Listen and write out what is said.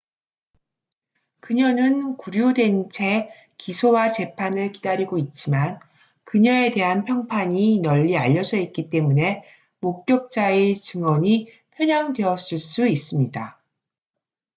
그녀는 구류된 채 기소와 재판을 기다리고 있지만 그녀에 대한 평판이 널리 알려져 있기 때문에 목격자의 증언이 편향되었을 수 있습니다